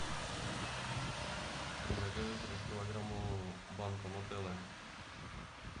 закажи трехкилограммовую банку нутеллы